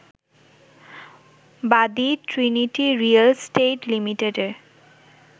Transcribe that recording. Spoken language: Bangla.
বাদী ট্রিনিটি রিয়েল স্টেট লিমিটেডের